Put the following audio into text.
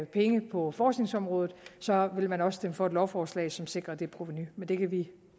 penge på forskningsområdet vil man også stemme for et lovforslag som sikrer det provenu men det kan vi